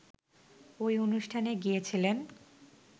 ওই অনুষ্ঠানে গিয়েছিলেন